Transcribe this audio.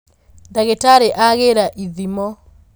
ndagītarī agīra ithimo.